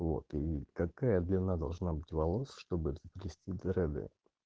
вот и какая длина должна быть волос чтобы заплести дреды